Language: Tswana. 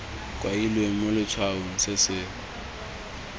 kailweng mo letshwaong se se